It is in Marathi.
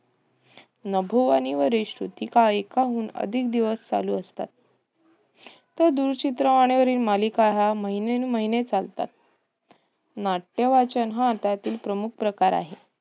नभोवाणीवर श्रुतिका हे एकाहून अधिक दिवस चालू असतात. तर दूरचित्रवाणीवरील मालिका या महिनोन्महिने चालतात. नाट्यवाचन हा त्यातील प्रकार आहे.